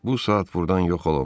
Bu saat burdan yox olun.